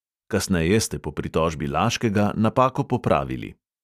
Kasneje ste po pritožbi laškega napako popravili.